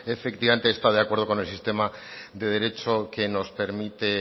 efectivamente está de acuerdo con el sistema de derecho que nos permite